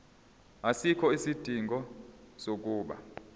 asikho isidingo sokuba